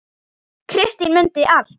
Kristín mundi allt.